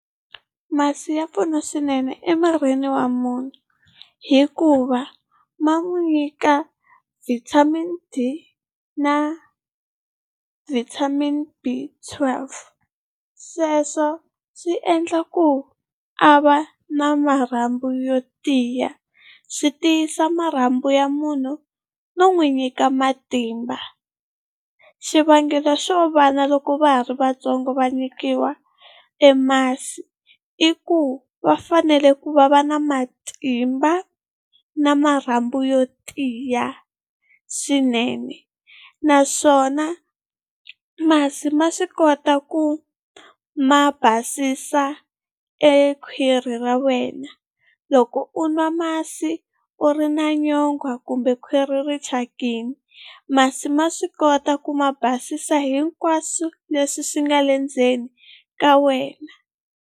Masi ya pfuna swinene emirini wa munhu hikuva ma n'wi nyika vitamin D na vitamin B twelve. Sweswo swi endla ku a va na marhambu yo tiya. Swi tiyisa marhambu ya munhu no n'wi nyika matimba. Xivangelo xo va loko va ha ri vatsongo va nyikiwa e masi i ku va fanele ku va va na matimba na marhambu yo tiya swinene, naswona masi ma swi kota ku ma basisa e khwiri ra wena. Loko u nwa masi u ri na nyongwha kumbe khwiri ri thyakini masi ma swi kota ku ma basisa hinkwaswo leswi swi nga le ndzeni ka wena.